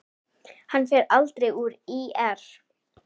Hann fer aldrei úr ÍR.